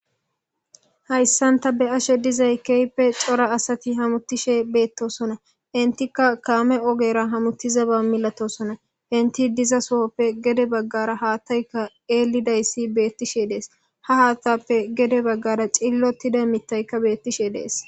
Hayssanta be ashe dizay keype xora asati hamuttishe beettosona intika kaame ogera hamuttiza ba milatosona inti diza sohoppe gede baggara haattayka eellidayssi beettishe dees ha haattappe gede baggara cillotida mittayka beettishe dees.